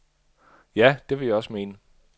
Ja, det vil jeg også mene.